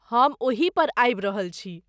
हम ओहि पर आबि रहल छी।